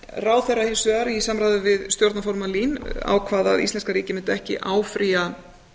ráðherra hins vegar í samráði við stjórnarformann lín ákvað að íslenska ríkið mundi ekki áfrýja